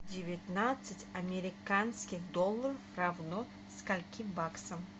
девятнадцать американских долларов равно скольким баксам